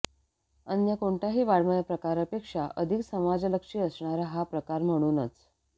अन्य कोणत्याही वाङ्मयप्रकारापेक्षा अधिक समाजलक्ष्यी असणारा हा प्रकार म्हणूनच